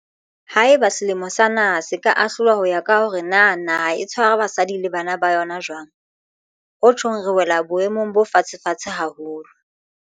Haeba semelo sa naha se ka ahlolwa ho ya ka hore na naha e tshwara basadi le bana ba yona jwang, ho tjhong re wela boemong bo fatshefatshe haholo.